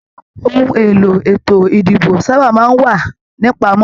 Òhun èlò ètò ìdìbò sábà máa n wà nipamọ.